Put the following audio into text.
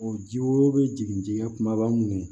O ji wo bɛ jigin dingɛ kumaba mun kɔnɔ